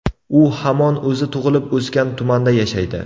U hamon o‘zi tug‘ilib-o‘sgan tumanda yashaydi.